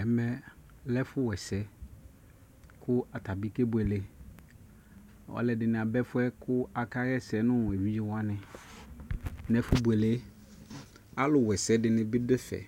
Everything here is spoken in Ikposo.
Ɛmɛ ɔlɛ ɛfu wɛsɛ kʋ atabi kebuele alʋɛdi ni aba ɛfu gɛ kʋ awasɛ nu evidzewani nʋ ɛfubuele gɛ Alʋwɛsɛ yɛ di ni bi dʋ ɛfɛ